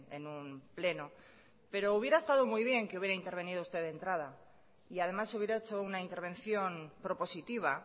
en un pleno pero hubiera estado muy bien que hubiera intervenido usted de entrada y además hubiera hecho una intervención propositiva